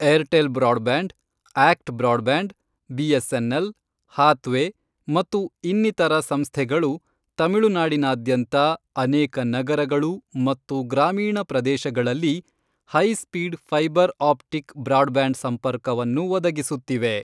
Airtel broadband, ACT broadband, BSNL, Hathway ಮತ್ತು ಇನ್ನಿತರ ಸಂಸ್ಥೆಗಳು ತಮಿಳುನಾಡಿನಾದ್ಯಂತ ಅನೇಕ ನಗರಗಳು ಮತ್ತು ಗ್ರಾಮೀಣ ಪ್ರದೇಶಗಳಲ್ಲಿ high speed fibre optic broadband ಸಂಪರ್ಕವನ್ನು ಒದಗಿಸುತ್ತಿವೆ.